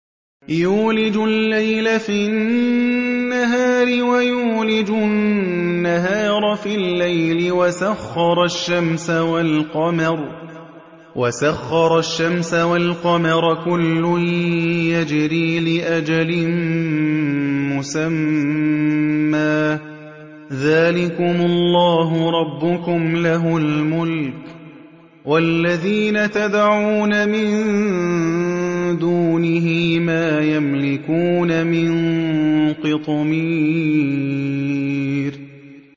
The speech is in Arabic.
يُولِجُ اللَّيْلَ فِي النَّهَارِ وَيُولِجُ النَّهَارَ فِي اللَّيْلِ وَسَخَّرَ الشَّمْسَ وَالْقَمَرَ كُلٌّ يَجْرِي لِأَجَلٍ مُّسَمًّى ۚ ذَٰلِكُمُ اللَّهُ رَبُّكُمْ لَهُ الْمُلْكُ ۚ وَالَّذِينَ تَدْعُونَ مِن دُونِهِ مَا يَمْلِكُونَ مِن قِطْمِيرٍ